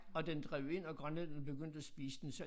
Og den drev ind og grønlænderne begyndte at spise den så